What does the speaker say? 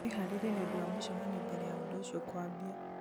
wĩharĩrie nĩ ũndũ wa mũcemanio mbere ya ũndũ ũcio kũambia